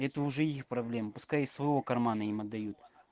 это уже их проблемы пускай из своего кармана им отдают